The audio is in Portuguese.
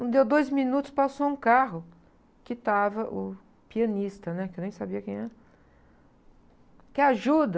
Não deu dois minutos, passou um carro, em que estava o pianista, né, que eu nem sabia quem era. Quer ajuda?